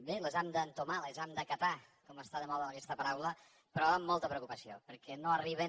bé les hem d’entomar les hem d’acatar com que està de moda aquesta paraula però amb molta preocupació perquè no arriben